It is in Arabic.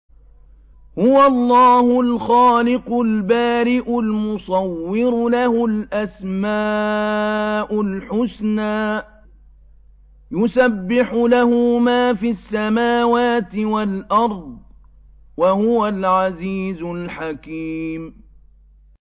هُوَ اللَّهُ الْخَالِقُ الْبَارِئُ الْمُصَوِّرُ ۖ لَهُ الْأَسْمَاءُ الْحُسْنَىٰ ۚ يُسَبِّحُ لَهُ مَا فِي السَّمَاوَاتِ وَالْأَرْضِ ۖ وَهُوَ الْعَزِيزُ الْحَكِيمُ